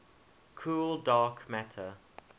cold dark matter